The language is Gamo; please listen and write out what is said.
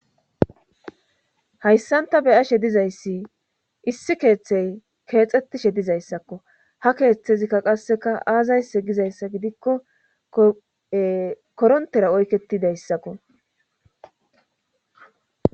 Hayssan ta beyashe dizayssi issi keeththey keexxettishe dizayssakko ha keeththezikka qasseka aazayse gizayssa gidikko korontera oyketidayssakko